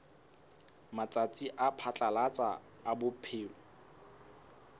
matsatsi a phatlalatsa a phomolo